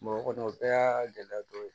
Mɔgɔ kɔni o bɛɛ y'a gɛlɛya dɔ ye